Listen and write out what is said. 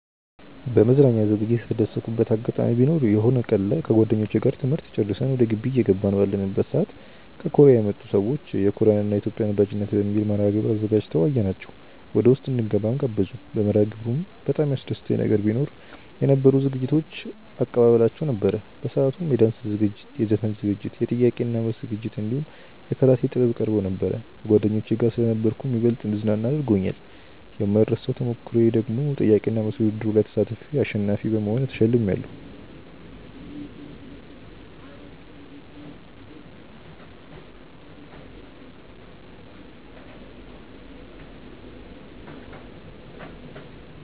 በመዝናኛ ዝግጅት የተደሰትኩበት አጋጣሚ ቢኖር የሆነ ቀን ላይ ከጓደኞቼ ጋር ትምህርት ጨርሰን ወደ ግቢ እየገባን ባለንበት ሰዓት ከኮርያ የመጡ ሰዎች የኮርያን እና የኢትዮጵያን ወዳጅነት በሚል መርሐግብር አዘጋጅተው አየናቸው ወደውስጥ እንድንገባም ጋበዙን። በመርሐግብሩም በጣም ያስደሰተኝ ነገር ቢኖ የነበሩት ዝግጅቶች እባ አቀባበላቸው ነበር። በሰአቱም የዳንስ ዝግጅት፣ የዘፈን ዝግጅት፣ የጥያቄ እና መልስ ዝግጅት እንዲሁም የካራቴ ጥበብ ቀርቦ ነበር። ከጓደኞቼ ጋር ስለነበርኩም ይበልጥ እንድዝናና አድርጎኛል። የማይረሳው ተሞክሮዬ ደግሞ ጥያቄ እና መልስ ውድድሩ ላይ ተሳትፌ አሸናፊ በመሆን ተሸልሜያለው።